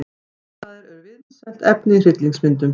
Martraðir eru vinsælt efni í hryllingsmyndum.